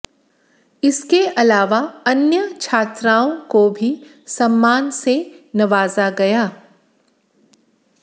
इसके अलावा अन्य छात्राओं को भी सम्मान से नवाजा गया